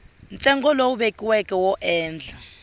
ntsengo lowu vekiweke wo endla